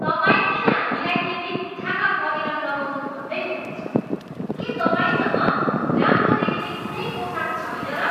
तपाईँ किन हामीलाई यी बित्थाका पहिरन लगाउनु भन्दै हुनुहुन्छ? के तपाईँसँग राम्रो देखिने कुनै पोसाक छैन र?